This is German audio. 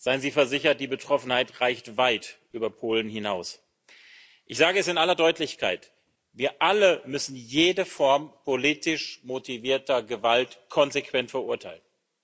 Seien Sie versichert Die Betroffenheit reicht weit über Polen hinaus. Ich sage es in aller Deutlichkeit Wir alle müssen jede Form politisch motivierter Gewalt konsequent verurteilen!